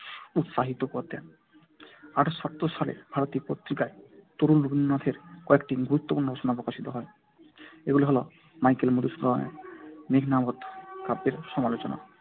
উৎসাহিত করতেন। আঠারোশো সাতাত্তর সালে ভারতী পত্রিকায় তরুণ রবীন্দ্রনাথের কয়েকটি গুরুত্বপূর্ণ রচনা প্রকাশিত হয়। এগুলি হল মাইকেল মধুসূদনের মেঘনাদবধ কাব্যের সমালোচনা